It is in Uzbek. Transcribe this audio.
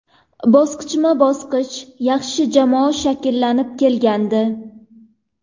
Bosqichma-bosqich yaxshi jamoa shakllanib kelgandi.